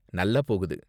நல்லா போகுது.